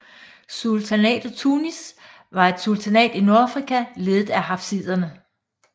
Sultanatet Tunis var et sultanat i Nordafrika ledet af hafsiderne